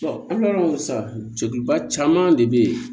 an bɛ sisan cɛba caman de bɛ ye